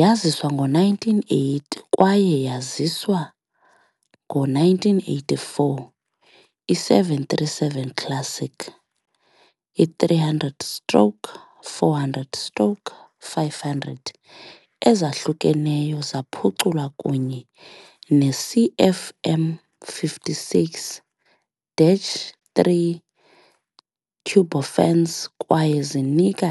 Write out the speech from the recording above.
Yaziswa ngo-1980 kwaye yaziswa ngo-1984, i- 737 Classic -300 -stroke 400 stroke 500 ezahlukeneyo zaphuculwa kunye ne -CFM56-3 turbofans kwaye zinika